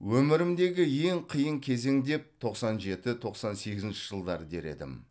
өмірімдегі ең қиын кезең деп тоқсан жеті тоқсан сегізінші жылдар дер едім